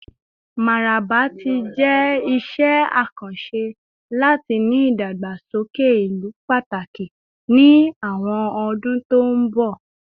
Mararaba ti jẹ iṣẹ akanṣe lati ni idagbasoke ilu pataki ni awọn ọdun to nbọ